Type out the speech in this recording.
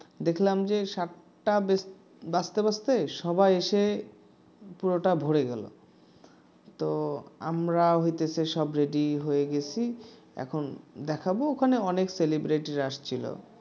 তো আমরা ওখানে baking করবো বিভিন্ন আমাদের সবার যে যে business হচ্ছে যে কৌশল আছে কৌশল টা দেখাবো তো ওখানে দেখা শেষে